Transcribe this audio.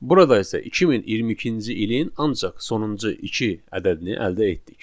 Burada isə 2022-ci ilin ancaq sonuncu iki ədədini əldə etdik.